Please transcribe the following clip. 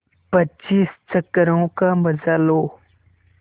पच्चीस चक्करों का मजा लो